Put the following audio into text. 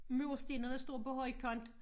Murstenene står på højkant